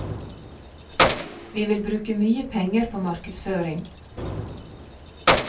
Vi vil bruke mye penger på markedsføring.